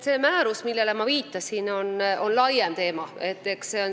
See määrus, millele ma viitasin, on laiem teema.